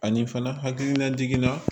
Ani fana hakilina jiginna